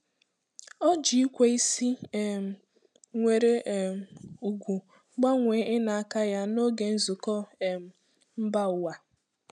O ji ikwe isi um nwere um ùgwù gbanwee ịna aka ya n'oge nzukọ um mba ụwa.